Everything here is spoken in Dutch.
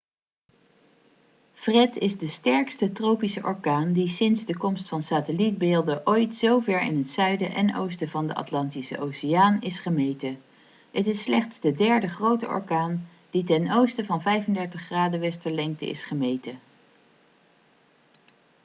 fred is de sterkste tropische orkaan die sinds de komst van satellietbeelden ooit zo ver in het zuiden en oosten van de atlantische oceaan is gemeten. het is slechts de derde grote orkaan die ten oosten van 35°w is gemeten